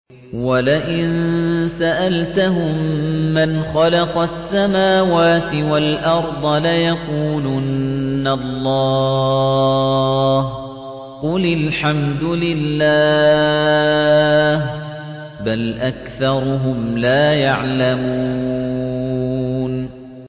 وَلَئِن سَأَلْتَهُم مَّنْ خَلَقَ السَّمَاوَاتِ وَالْأَرْضَ لَيَقُولُنَّ اللَّهُ ۚ قُلِ الْحَمْدُ لِلَّهِ ۚ بَلْ أَكْثَرُهُمْ لَا يَعْلَمُونَ